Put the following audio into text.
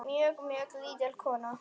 Mjög, mjög lítil kona.